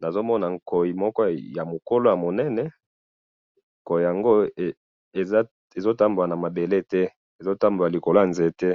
nazomona nkoyi moko ya munene nkoyi yango ezotambola na mabele te ezotambola na likolo ya nzete.